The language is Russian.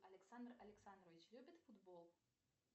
александр александрович любит футбол